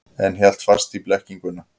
En hélt fast í blekkinguna.